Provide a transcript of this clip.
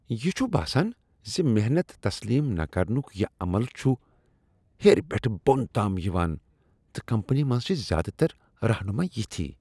یِہ چھ باسان زِ محنت تسلیم نہ کرنک یہ عمل چھ ہیرٕ پیٹھ بون تام یوان تہٕ کمپنی منٛز چھ زیادٕ تر رہنما یِتھی۔